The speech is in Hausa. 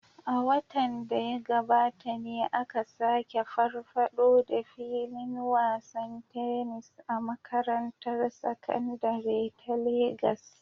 A watan da ya gabata ne aka sake farfaɗo da filin wasan tennis a makarantar sakandare ta Legas